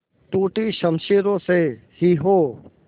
टूटी शमशीरों से ही हो